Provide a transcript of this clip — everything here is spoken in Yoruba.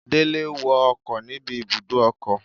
Dele wo ọkọ níbi ibùdó ọkọ̀